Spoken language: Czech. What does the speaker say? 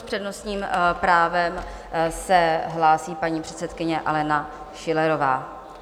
S přednostním právem se hlásí paní předsedkyně Alena Schillerová.